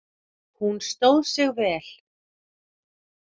Hún stóð sig vel.